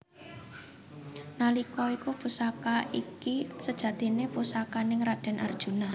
Nalika iku Pusaka iki sejatine pusakaning raden Arjuna